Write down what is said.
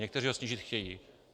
Někteří ho snížit chtějí.